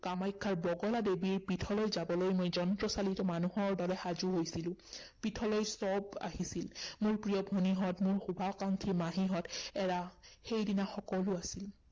কামাখ্যাৰ বগলা দেৱীৰ পীঠলৈ যাবলৈ মই যন্ত্ৰচালিত মানুহৰ দৰে সাজু হৈছিলো পীঠলৈ সৱ আহিছিল। মোৰ প্ৰিয় ভনীহঁত, মোৰ শুভাকাংক্ষী মাহীহঁত, এৰা, সেইদিনা সকলো আছিল।